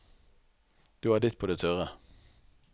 Du har ditt på det tørre.